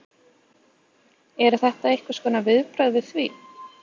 Eru þetta einhvers konar viðbrögð við því?